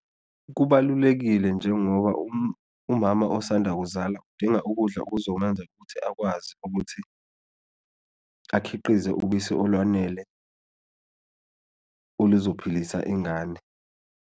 Kubalulekile njengoba umama osanda kuzala udinga ukudla okuzomenza ukuthi akwazi ukuthi akhiqize ubisi olwanele oluzophilisa ingane.